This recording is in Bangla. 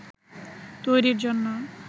তৈরির জন্য